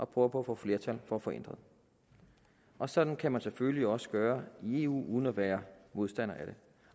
på at få flertal for at få ændret og sådan kan man selvfølgelig også gøre i eu uden at være modstander af det